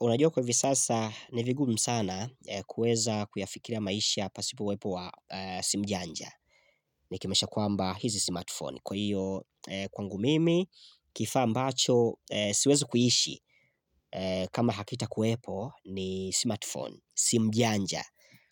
Unajua kwa hivi sasa ni vigumu sana kueza kuyafikiria maisha pasipo uwepo wa simu janja Nikimaanisha kwamba hizi smart phone Kwa hiyo kwangu mimi kifaa ambacho siwezi kuishi kama hakita kuwepo ni smart phone, simu janja